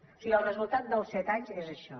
o sigui el resultat dels set anys és això